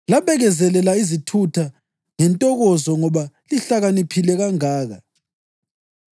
Labekezelela izithutha ngentokozo ngoba lihlakaniphe kangaka!